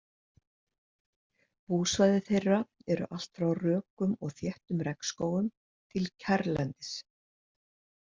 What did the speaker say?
Búsvæði þeirra eru allt frá rökum og þéttum regnskógum til kjarrlendis.